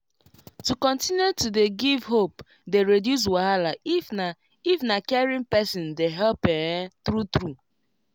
to continue to dey give hope dey reduce wahala if na if na caring person dey help[um]true true